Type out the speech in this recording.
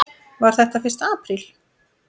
Var þetta fyrsti apríl?